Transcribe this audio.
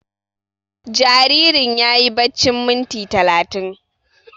Jaririn yayi baccin minti talatin